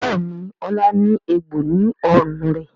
Béèni Ola ní egbò ní ọrùn rẹ.